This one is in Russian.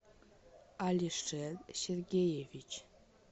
алишер сергеевич